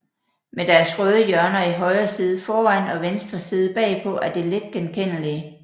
Med deres røde hjørner i højre side foran og venstre side bagpå er de let genkendelige